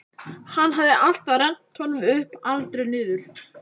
Hann hafði alltaf rennt honum upp, aldrei niður.